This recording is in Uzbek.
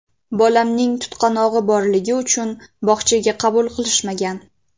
Bolamning tutqanog‘i borligi uchun bog‘chaga qabul qilishmagan.